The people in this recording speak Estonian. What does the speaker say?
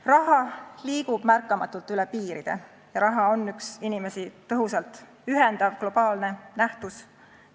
Raha liigub märkamatult üle piiride ja ta on inimesi tõhusalt ühendav globaalne nähtus.